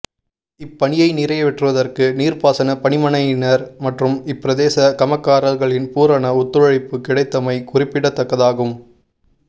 இப்பணியை நிறைவேற்றுவதற்கு நீர்பாசனப் பணிமனையினர் மற்றும் இப்பிரதேச கமக்காரர்களின் பூரண ஒத்துழைப்புக் கிடைத்தமை குறிப்பிடத்தக்கதாகும்